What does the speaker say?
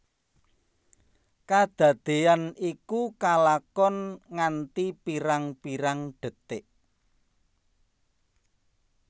Kadadéyan iku kalakon nganti pirang pirang detik